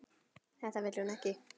Þetta vill hún ekki.